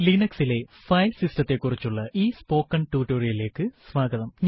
Linux ലെ file സിസ്റ്റത്തെ കുറിച്ചുള്ള ഈ സ്പോക്കൺ ടുട്ടോറിയലിലേക്ക് സ്വാഗതം